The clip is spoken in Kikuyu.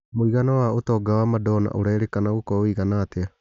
Mũigana wa ũtonga wa Madona ũrerĩkana gũkorwo ũigana atĩa?